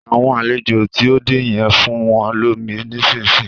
Àwọn àlejò tí o dé yen, fún wọn lómi nísìsiyìí